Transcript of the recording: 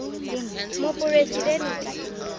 moporesidente